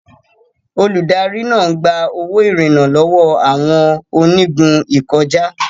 Olùdarí náà ń gba owó ìrìnnà lọ́wọ́ àwọn onígun ìkọjá.